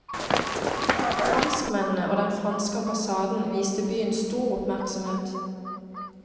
Franskmennene og den franske ambassaden viste byen stor oppmerksomhet.